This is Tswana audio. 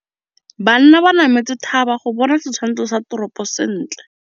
Banna ba nametse thaba go bona setshwantsho sa toropô sentle.